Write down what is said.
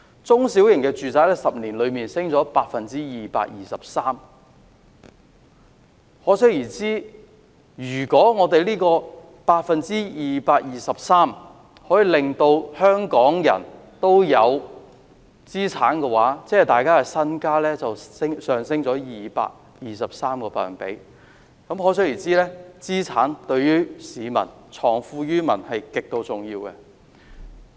中小型住宅在10年內升幅 223%， 可想而知，如果政府可以令香港人擁有資產，即大家的身家便會上升 223%， 所以資產對藏富於民是極度重要的。